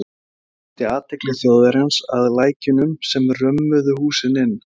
Stefán beindi athygli Þjóðverjans að lækjunum sem römmuðu húsin inn.